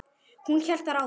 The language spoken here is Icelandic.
Hún hélt þar áfram